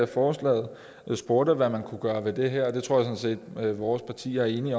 forslaget spurgte hvad man kunne gøre ved det her jeg sådan set at vores parti er enig i